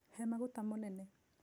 He mũgate mũnĩnĩ.